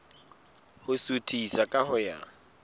ho suthisa ka ho ya